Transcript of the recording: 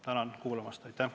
Tänan kuulamast!